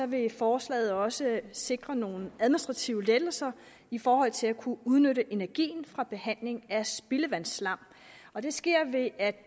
vil forslaget også sikre nogle administrative lettelser i forhold til at kunne udnytte energien fra behandling af spildevandsslam og det sker ved at